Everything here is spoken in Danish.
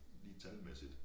Lige talmæssigt